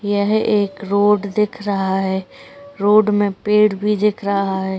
यह एक रोड दिख रहा है। रोड में पेड़ भी दिख रहा है।